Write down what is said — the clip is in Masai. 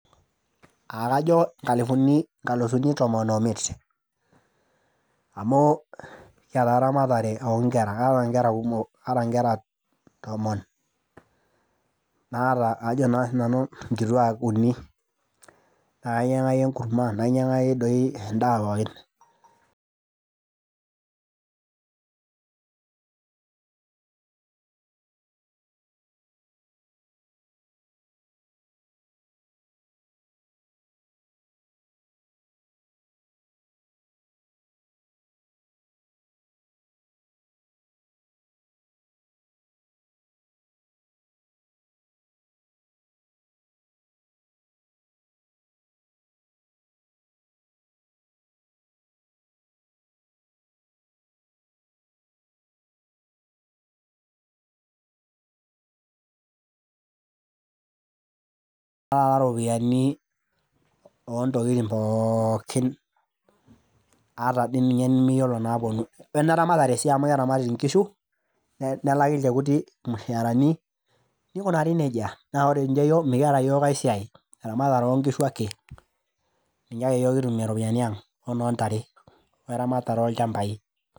Aa kajo nkalusuni tomon oo imit amuu kiyata nkera kumok, aata nkera tomon, naata nkituak ajo naa sinanu uni, naa kainyaki enkurma nainyaki doi endaa pookin kaata ropiyiani oo ntokitin pookin ata dii ninye nimiyiolo naapuonu ata neramatare amu keramati nkishu nelaki ilchekuti ilmushaarani neukunari nejia, naa ore ninche iyiok mikiata yiok ae siai, eramatare oo nkishu ake ninye ake yiok kitumie ropiyiani ang ,wenoontare, weramatare oolchambai.